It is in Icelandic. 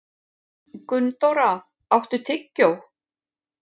Gunndóra, áttu tyggjó?